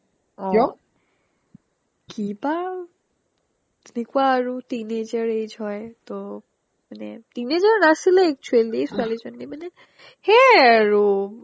অ কিয়্? কিবা এনেকুৱা আৰু teenager age হয় টৌ মানে teenager নাছিলে actually ছোৱালীজনী মানে সেই আৰু